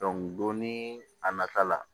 don ni a nata la